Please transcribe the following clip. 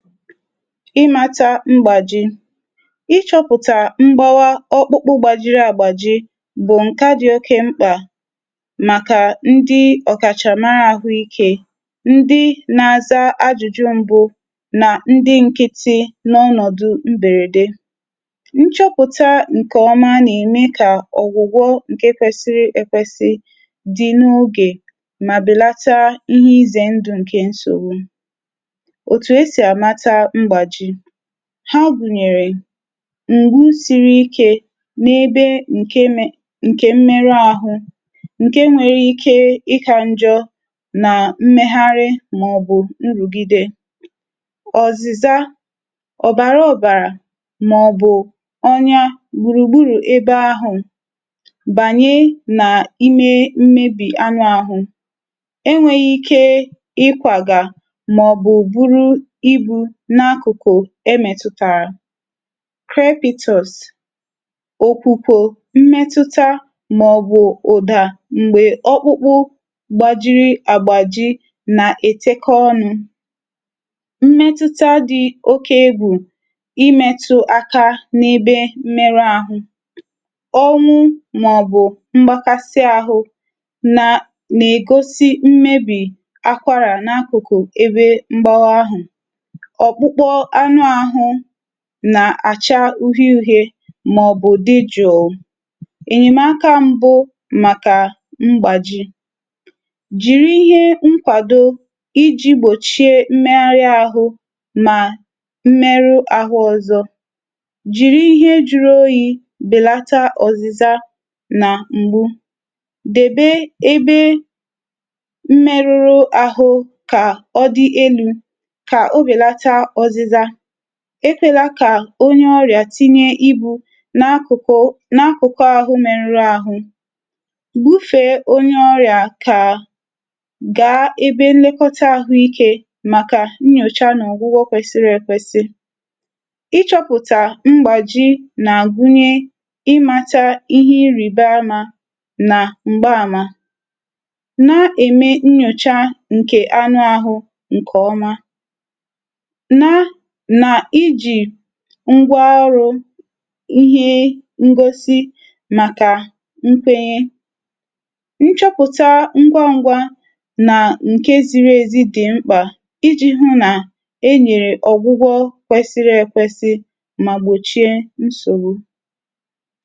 Ịmȧta mgbàji; ịchọ̇pụ̀tà mgbawa ọkpụkpụ gbàjiri àgbàji bụ̀ ǹkè a dị̀ oke mkpà màkà ndị ọ̀kàchàmara àhụikė, ndị n’àza ajụ̇jụ m̀bụ na ndị nkịtị̇ n’ọnọ̀dụ̀ mbèrède. Ṅchọ̇pụ̀tà ǹkè ọma nà-ème kà ọ̀gwụ̀gwọ ǹke kwesiri ekwesi dị n’ogè mà bèlata ihe izè ndụ̀ ǹkè nsògwụ̀. Otu asi amata mgbàji; ha gùnyèrè ǹgbu siri ikė n’ebe ǹke um ǹke mmeru ȧhụ̇ ǹke nwere ike ịkȧ njọ nà mmegharị mà ọ̀bụ̀ nrụ̀gide, ọ̀zị̀za, ọ̀bàra ọ̀bàrà, mà ọ̀bụ̀ ọnya gbùrùgbùrù ebe ahụ̀, bànye nà ime mmebì anụ ahụ̀, enwėghi ike ịkwàga ma ọ bụ buru ịbu na akụ̀kụ̀ emètùtàrà. Crepitus, okwukwo mmetùta ma ọ̀bụ̀ ụ̀dà m̀gbè ọkpụkpụ gbàjiri àgbàji na-ètekọ ọnụ̇, mmetùta dị̀ oke egwù imètụ̇ aka n’ibè mmerụ ahụ̀ ọnwụ̇ ma ọ̀bụ̀ mgbakasị ahụ̇ na-egosi mmebì akwara na akụ̀kụ̀ ebe mgbawa ahụ̀. Ọkpukpọ anụ ahụ̀ nà-àcha uhie uhie mà òbụ di jùù. Enyèmaka mbụ màkà mgbàji; jìri ihe nkwàdo iji̇ gbòchie mmẹnrị ahụ̇ mà mmeru àhụ ọ̀zọ, jìri ihe juru oyi̇ bèlata ọ̀zịza nà m̀gbu, dèbe ebe mmeruru ahụ̇ kà ọ dị elu̇ kà obèlata ọ̀zịza, ekwela kà onye ọrịà tinye ibu̇ n’akụkụ n’akụkọ ahụ̀ mee nri ahụ̀, gbufe onye ọrịà kà gaa ebe nlekọta ahụ̀ ike màkà nnyòcha n’ọ̀gwụgwọ kwesịrị ekwesị. Ịchọ̇pụ̀tà mgbàji nà-àgụnye imata ihe ịrìbaamȧ nà m̀gbaàmà. Na-ème nnyòcha nkè anụ ahụ̀ ǹkè ọma. Nà, na-ejì ngwa ọrụ̇ ihe ngosi màkà nkwenye. Nchọpụ̀ta ngwa ngwa nà nke ziri ezi dị̀ mkpà iji̇ hụ nà enyèrè ọ̀gwụgwọ kwesiri ekwesi mà gbòchie nsògbu.